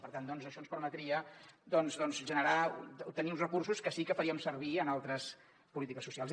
per tant això ens permetria generar tenir uns recursos que sí que faríem servir en altres polítiques socials